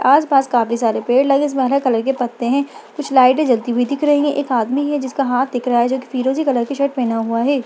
आसपास काफी सारे पेड़ लगे हैं इसमें हरे कलर के पत्ते हैं कुछ लाईटे जलते हुई दिख रही हैं एक आदमी है जिसका हाथ दिख रहा है जो की फिरोज़ी कलर की शर्ट पेहना हुआ है।